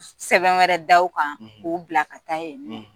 Sɛbɛn wɛrɛ da u kan k'u bila ka taa yen